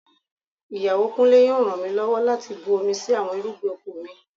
Ìyàwó Kúnlé yóò ràn mí lọ́wọ́ láti bu omi sí àwọn irúgbìn oko mi